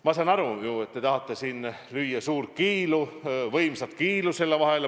Ma saan aru, et te tahate siin lüüa meie vahele suurt kiilu, võimsat kiilu.